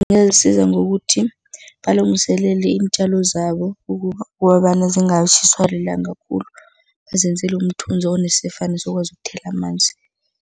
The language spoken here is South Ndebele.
Ngokuthi balungiselela iintjalo zabo ukobana zingatjhiswa lilanga khulu, bazenzele umthunzi ukuthela amanzi.